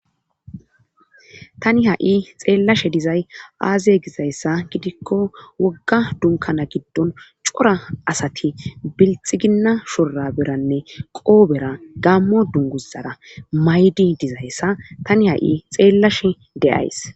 tani ha'i xeellashe dizay aaze gizayssa gidikko wogga dunkana giddon cora asati bilxiginna shora beranne qoobera gammo dunguzara maydi dizayssa tani ha'i xeellashe de'ays.